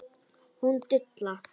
Hún dula.